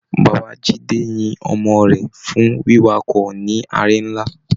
Bàbá Jide yín ọmọ rẹ fún wiwakọ ní àrè nlá.